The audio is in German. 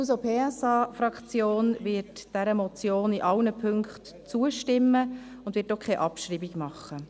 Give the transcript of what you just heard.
Die SP-JUSO-PSA-Fraktion wird dieser Motion in allen Punkten zustimmen und wird auch keine Abschreibung machen.